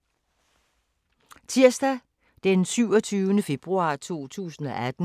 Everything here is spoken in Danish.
Tirsdag d. 27. februar 2018